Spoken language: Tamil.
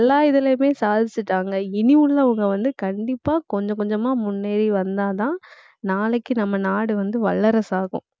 எல்லா இதுலையுமே சாதிச்சுட்டாங்க. இனி உள்ளவங்க வந்து, கண்டிப்பா கொஞ்சம் கொஞ்சமா முன்னேறி வந்தாதான் நாளைக்கு நம்ம நாடு வந்து வல்லரசாகும்.